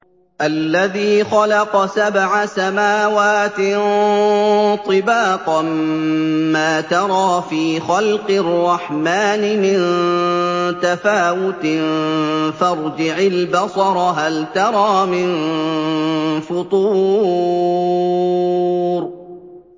الَّذِي خَلَقَ سَبْعَ سَمَاوَاتٍ طِبَاقًا ۖ مَّا تَرَىٰ فِي خَلْقِ الرَّحْمَٰنِ مِن تَفَاوُتٍ ۖ فَارْجِعِ الْبَصَرَ هَلْ تَرَىٰ مِن فُطُورٍ